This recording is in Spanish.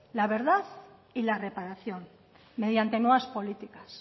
la verdad y la reparación mediante nuevas políticas